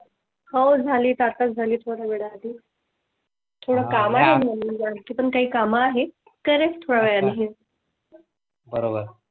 हो झालीत आता झाली थोडं वेळा आधी . थोडं काम काम आहे कळण थोडं वेळा . बरोबर